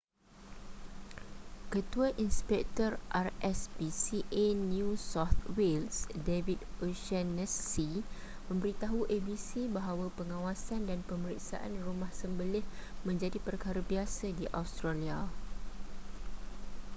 ketua inspektor rspca new south wales david o'shannessy memberitahu abc bahawa pengawasan dan pemeriksaan rumah sembelih menjadi perkara biasa di australia